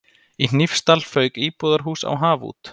Í Hnífsdal fauk íbúðarhús á haf út.